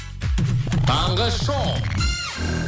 таңғы шоу